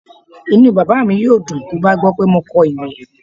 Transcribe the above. Inú bàbá mi yóò dùn tó bá gbọ́ pé mo kọ ìwé.